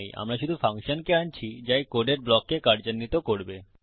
আমরা শুধু ফাংশনকে আনছি যা এই কোডের ব্লককে কার্যান্বিত করবে